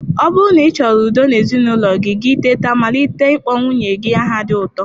Ọ bụrụ na ịchoro udo n'ezinụlọ gi tata malite ikpo nwunye gi aha di uto